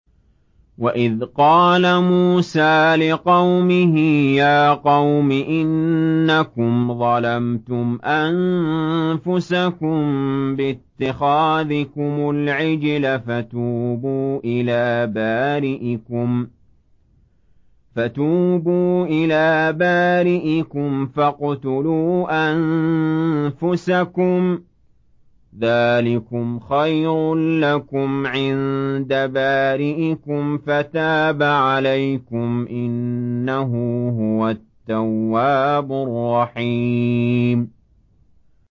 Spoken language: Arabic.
وَإِذْ قَالَ مُوسَىٰ لِقَوْمِهِ يَا قَوْمِ إِنَّكُمْ ظَلَمْتُمْ أَنفُسَكُم بِاتِّخَاذِكُمُ الْعِجْلَ فَتُوبُوا إِلَىٰ بَارِئِكُمْ فَاقْتُلُوا أَنفُسَكُمْ ذَٰلِكُمْ خَيْرٌ لَّكُمْ عِندَ بَارِئِكُمْ فَتَابَ عَلَيْكُمْ ۚ إِنَّهُ هُوَ التَّوَّابُ الرَّحِيمُ